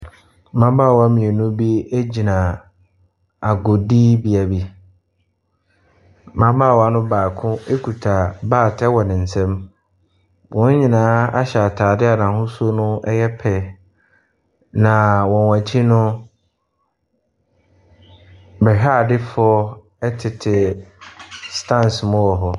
Mmabaawa mmienu bi gyina agodibea bi. Mmabaawa no baako kuta bat wɔ ne nsam. Wɔn nyinaa ahyɛ atadeɛ a n'ahosuo no yɛ pɛ, na wɔn akyi no, bɛhwɛadefoɔ tete stands mu wɔ hɔ.